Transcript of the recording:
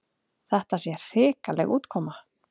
Þetta sé hrikaleg útkoma.